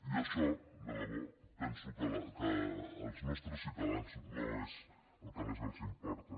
i això de debò penso que als nostres ciutadans no és el que més els importa